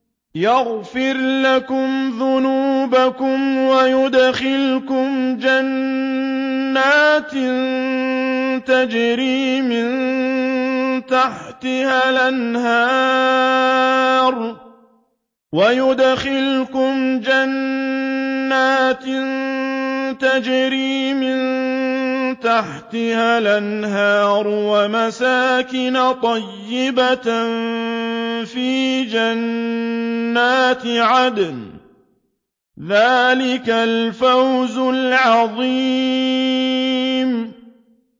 يَغْفِرْ لَكُمْ ذُنُوبَكُمْ وَيُدْخِلْكُمْ جَنَّاتٍ تَجْرِي مِن تَحْتِهَا الْأَنْهَارُ وَمَسَاكِنَ طَيِّبَةً فِي جَنَّاتِ عَدْنٍ ۚ ذَٰلِكَ الْفَوْزُ الْعَظِيمُ